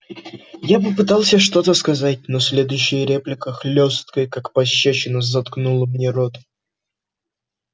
я попытался что-то сказать но следующая реплика хлёсткая как пощёчина заткнула мне рот